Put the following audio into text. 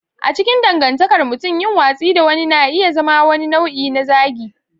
A cikin dangantakar mutum, yin watsi da wani na iya zama wani nau'i na zagi.